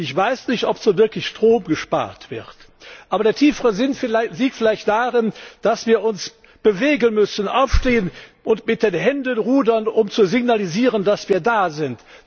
Ich weiß nicht, ob so wirklich Strom gespart wird. Aber der tiefere Sinn liegt vielleicht darin, dass wir uns bewegen, aufstehen und mit den Händen rudern müssen, um zu signalisieren, dass wir da sind.